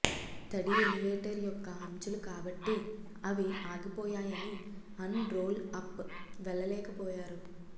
తడి ఎలివేటర్ యొక్క అంచులు కాబట్టి అవి ఆగిపోయాయని అండ్ రోల్ అప్ వెళ్ళలేకపోయారు